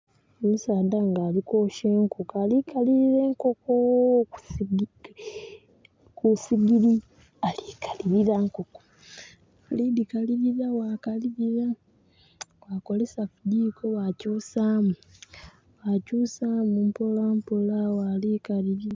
Omusaadha nga ali kwokya enkoko, alikalirira enkoko kusigiri. Ali kalirira enkoko. Ali dikalirira bwa kalirira bwa kozesa kijjiko bwa kyusamu. Bwa kyusamu mpola mpola bwa likalirira